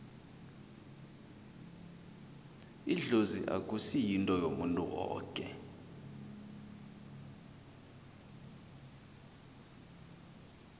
idlozi akusi yinto yomuntu woke